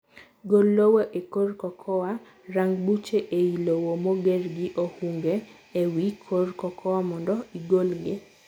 Gol lowo e korr cocoa. Rang buche eiy lowo moger gi ohunge e wi korr cocoa mondo igolgi.